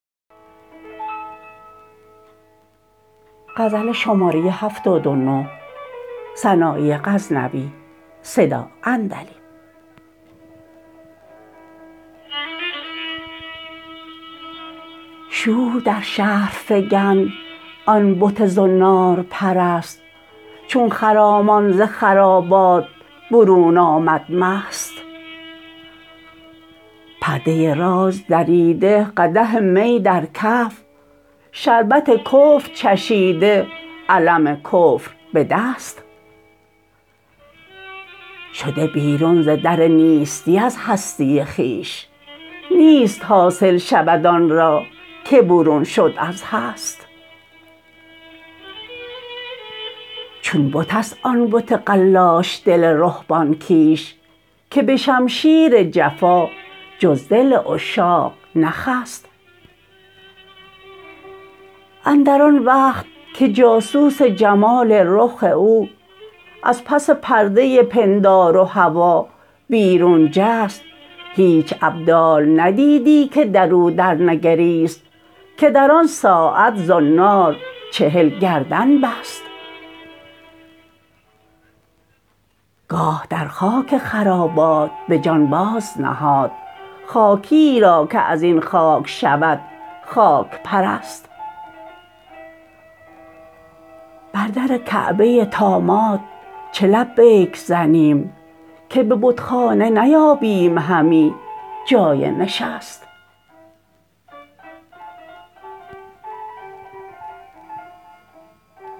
شور در شهر فکند آن بت زنارپرست چون خرامان ز خرابات برون آمد مست پرده راز دریده قدح می در کف شربت کفر چشیده علم کفر به دست شده بیرون ز در نیستی از هستی خویش نیست حاصل شود آن را که برون شد از هست چون بت است آن بت قلاش دل رهبان کیش که به شمشیر جفا جز دل عشاق نخست اندر آن وقت که جاسوس جمال رخ او از پس پرده پندار و هوا بیرون جست هیچ ابدال ندیدی که درو درنگریست که در آن ساعت زنار چهل کرد نبست گاه در خاک خرابات به جان بازنهاد خاکیی را که ازین خاک شود خاک پرست بر در کعبه طامات چه لبیک زنیم که به بتخانه نیابیم همی جای نشست